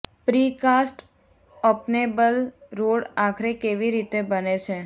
pre cast openable road આખરે કેવી રીતે બને છે